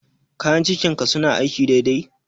Kayan cikin ka suna aiki dai dai?